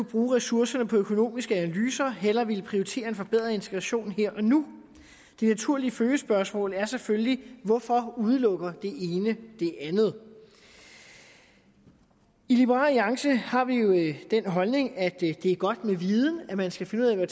bruge ressourcerne på økonomiske analyser hellere ville prioritere en forbedret integration her og nu det naturlige følgespørgsmål er selvfølgelig hvorfor udelukker det ene det andet i liberal alliance har vi jo den holdning at det er godt med viden at man skal finde ud af